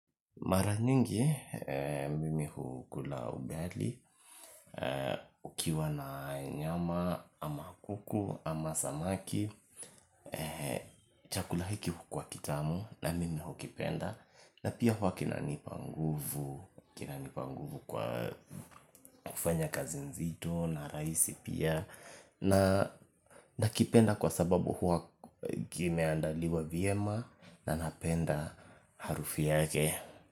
Mara nyingi, mimi hukula ugali, ukiwa na nyama ama kuku ama samaki, chakula hiki hukuwa kitamu na mimi hukipenda na pia huwa kinanipa nguvu, kinanipa nguvu kwa kufanya kazi nzito na rahisi pia na nakipenda kwa sababu huwa kimeandaliwa vyema na napenda harufu yake.